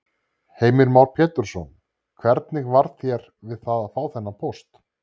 Heimir Már Pétursson: Hvernig varð þér við að fá þennan póst?